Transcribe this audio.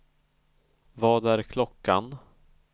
Vad är klockan